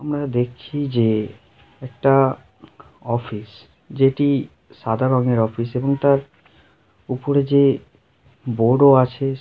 আমরা দেখছি যে একটা অফিস যেটি সাদা রঙের অফিস এবং তার উপরে যে বড়ো আছে |